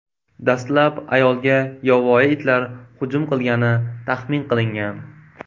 Dastlab ayolga yovvoyi itlar hujum qilgani taxmin qilingan.